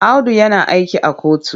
Audu yana aiki a kotu.